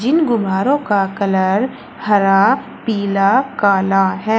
इन गुब्बारों का कलर हरा पीला काला है।